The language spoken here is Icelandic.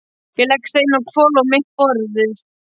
Ég legg steininn á hvolf á mitt borðið.